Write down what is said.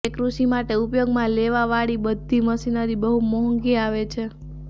કેમ કે કૃષિ માટે ઉપયોગમાં લાવા વાળી મશીનરી બહુ મોહંગી આવે છે